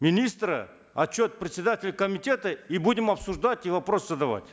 министра отчет председателя комитета и будем обсуждать и вопросы задавать